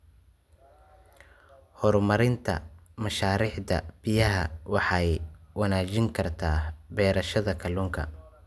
Horumarinta mashaariicda biyaha waxay wanaajin kartaa beerashada kalluunka.